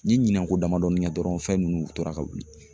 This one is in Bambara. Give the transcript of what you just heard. N ye ɲinan ko damadɔɔni kɛ dɔrɔn fɛn nunnu tora ka wuli.